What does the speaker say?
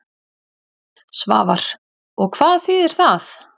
Svavar: Og hvað þýðir það?